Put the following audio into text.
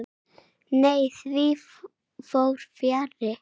Nei, því fór fjarri.